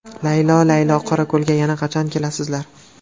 Laylo laylo Qorako‘lga yana qachon kelasizlar?